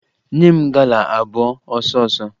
Nye m gala abụọ ọsọọsọ!